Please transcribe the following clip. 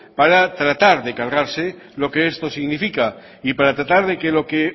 para tratar de cargarse lo que esto significa y para tratar de lo que